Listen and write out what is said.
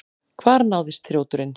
Hvar náðist þrjóturinn?